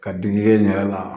Ka digi n yɛrɛ la